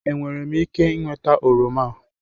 Enwere m ike ịnweta oroma a?